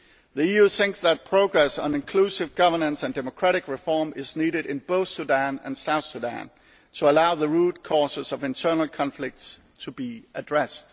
The EU thinks that progress on inclusive governance and democratic reform is needed in both Sudan and South Sudan to allow the root causes of internal conflicts to be addressed.